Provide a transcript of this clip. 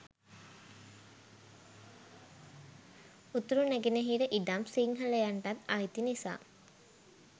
උතුරු නැගෙනහිර ඉඩම් සිංහලයන්ටත් අයිති නිසා.